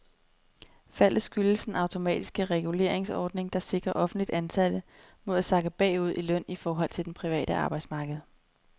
Faldet skyldes den automatiske reguleringsordning, der sikrer offentligt ansatte mod at sakke bagud i løn i forhold til det private arbejdsmarked.